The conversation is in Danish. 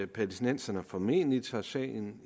palæstinenserne formentlig tager sagen